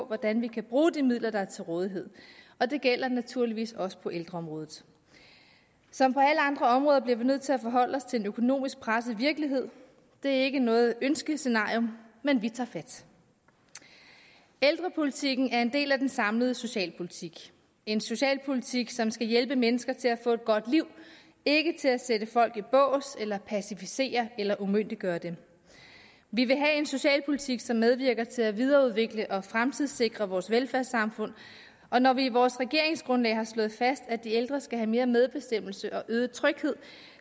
hvordan vi kan bruge de midler der er til rådighed og det gælder naturligvis også på ældreområdet som på alle andre områder bliver vi nødt til at forholde os til en økonomisk presset virkelighed det er ikke noget ønskescenarium men vi tager fat ældrepolitikken er en del af den samlede socialpolitik en socialpolitik som skal hjælpe mennesker til at få et godt liv ikke til at sætte folk i bås eller pacificere eller umyndiggøre dem vi vil have en socialpolitik som medvirker til at videreudvikle og fremtidssikre vores velfærdssamfund og når vi i vores regeringsgrundlag har slået fast at de ældre skal have mere medbestemmelse og øget tryghed